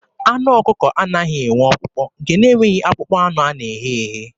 Anụ ọkụkọ anaghị enwe ọkpụkpụ, nke na-enweghị akpụkpọ anụ nke a na-eghe eghe.